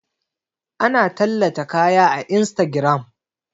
Ana tallata kaya a instagiram